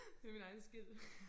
Det min egen skyld